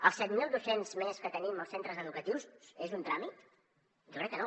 els set mil docents més que tenim als centres educatius són un tràmit jo crec que no